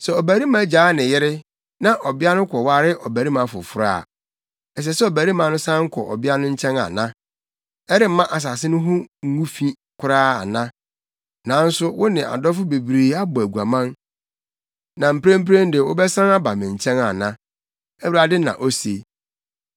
“Sɛ ɔbarima gyaa ne yere na ɔbea no kɔware ɔbarima foforo a, ɛsɛ sɛ ɔbarima no san kɔ ɔbea no nkyɛn ana? Ɛremma asase no ho ngu fi koraa ana? Nanso wo ne adɔfo bebree abɔ aguaman, na mprempren de wobɛsan aba me nkyɛn ana?” Awurade na ose.